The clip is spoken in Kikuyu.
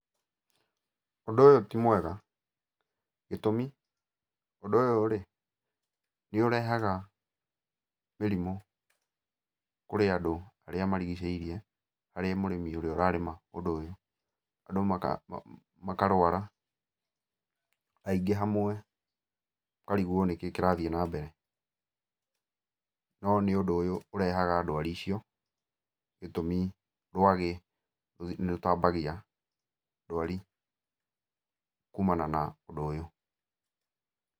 Ũndũ ũyũ ti mwega, gĩtũmi, ũndũ ũyũ-rĩ, nĩũrehaga mĩrimũ kũrĩ andũ arĩa marigicĩirie harĩ mũrĩmi ũrĩa ũrarĩma ũndũ ũyũ. Andũ makarwara aingĩ hamwe ũkarigwo nĩkĩĩ kĩrathiĩ nambere. No nĩ ũndũ ũyũ ũrehaga ndwari icio, gĩtũmi rwagĩ nĩrũtambagia ndwari kumana na ũndũ ũyũ.